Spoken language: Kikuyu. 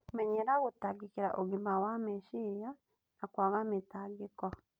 Menyera gũtangĩkĩra ũgima wa meciria na kwaga mĩtangĩko